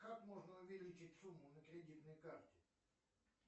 как можно увеличить сумму на кредитной карте